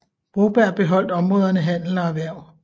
Broberg beholdt områderne handel og erhverv